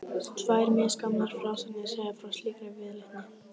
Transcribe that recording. Tvær misgamlar frásagnir segja frá slíkri viðleitni.